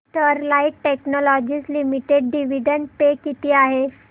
Sterlite technologies limited dividend pay किती आहे